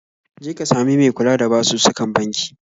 Je ka sami me kula da basussukan banki